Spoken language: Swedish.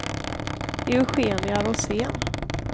Eugenia Rosén